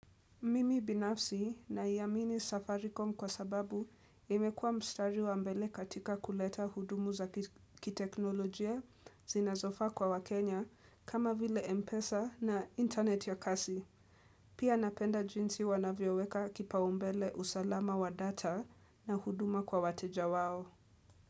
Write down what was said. Mimi binafsi naiamini Safaricom kwa sababu imekua mstari wa mbele katika kuleta hudumu za kiteknolojia zinazofaa kwa wakenya kama vile Mpesa na internet ya kasi. Pia napenda jinsi wanavyeweka kipaumbele usalama wa data na huduma kwa wateja wao.